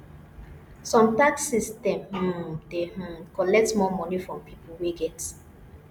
some tax system um dey um collect more money from pipo wey get